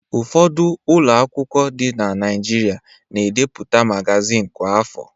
Ụfọdụ ụlọ akwụkwọ dị na Naịjirịa na-ebipụta magazin kwa afọ.